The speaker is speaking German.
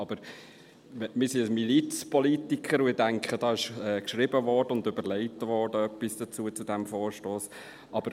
Aber wir sind Milizpolitiker, und ich denke, zu diesem Vorstoss wurde etwas geschrieben und überlegt.